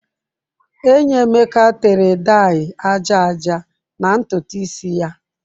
Enyi Emeka tere daị aja aja na ntutu isi ya.